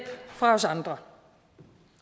fra os andre